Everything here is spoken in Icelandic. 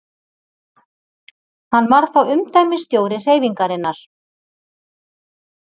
Hann var þá umdæmisstjóri hreyfingarinnar.